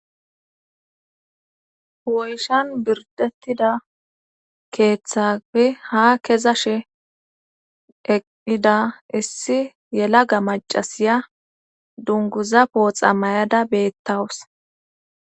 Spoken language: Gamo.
hu7oyshan birdettida keeththape ha keza she eqqida issi yelaga macasiya dunguza pooxa mayada beettawus